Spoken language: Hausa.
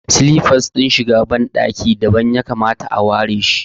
Silafas din shiga ban ɗaki dabam ya kamata a ware shi